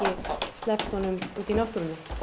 sleppt honum út í náttúruna